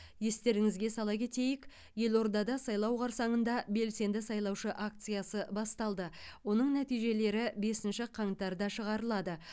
естеріңізге сала кетейік елордада сайлау қарсаңында белсенді сайлаушы акциясы басталды оның нәтижелері бесінші қаңтарда шығарылады